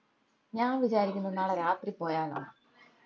ഞാൻ വിചാരിക്കുന്ന നാളെ രാത്രി പോയാലൊന്ന